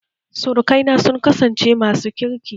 Surukaina sun kasance masu kirki